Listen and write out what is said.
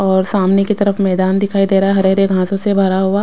और सामने की तरफ मैदान दिखाई दे रहा है हरे हरे घासों से भरा हुआ।